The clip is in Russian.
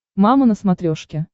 мама на смотрешке